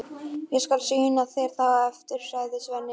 Ég skal sýna þér það á eftir, sagði Svenni.